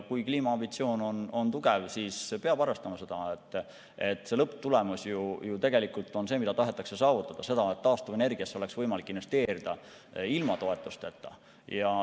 Kui kliimaambitsioon on tugev, siis peab arvestama, et lõpptulemus on ju tegelikult see, mida tahetakse saavutada, see, et taastuvenergiasse oleks võimalik investeerida ilma toetusteta.